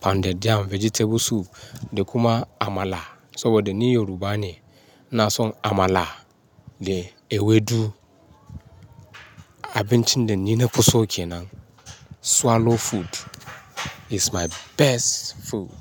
pounded yam, vegetable soup da kuma amala saboda ni Yoruba ne. Ina son amala da ewedu. Abincin da ni na fi so kenan swallow food is my best food.